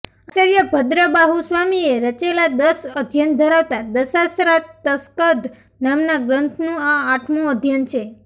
આચાર્ય ભદ્રબાહુસ્વામીએ રચેલા દશ અધ્યયન ધરાવતા દશાશ્રાૃતસ્કંધ નામના ગ્રંથનું આ આઠમુ અધ્યયન છે